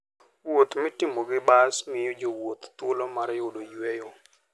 Wuoth mitimo gi bas miyo jowuoth thuolo mar yudo yueyo.